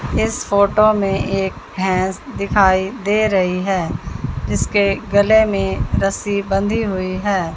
इस फोटो में एक भैंस दिखाई दे रही है जिसके गले में रस्सी बंधी हुई है।